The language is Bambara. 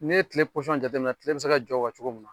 N'i ye tile posɔn jate minɛ tile bɛ se ka jɔ o kan cogo mun